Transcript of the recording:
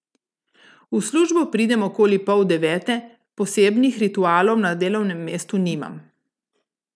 V službo pridem okoli pol devete, posebnih ritualov na delovnem mestu nimam.